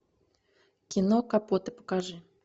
кино капоты покажи